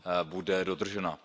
bude dodržena.